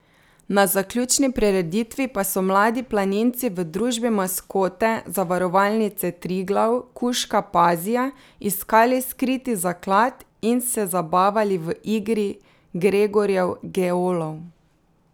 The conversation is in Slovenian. Na zaključni prireditvi pa so mladi planinci v družbi maskote Zavarovalnice Triglav kužka Pazija iskali skriti zaklad in se zabavali v igri Gregorjev geolov.